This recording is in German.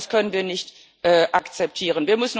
Das können wir nicht akzeptieren.